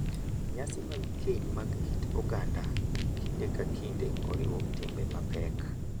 Nyasi mag keny mag kit oganda kinde ka kinde oriwo timbe mapek,